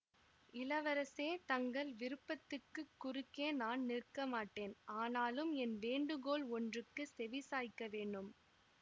இளவரசே தங்கள் விருப்பத்துக்குக் குறுக்கே நான் நிற்கமாட்டேன் ஆனாலும் என் வேண்டுகோள் ஒன்றுக்குச் செவி சாய்க்க வேணும்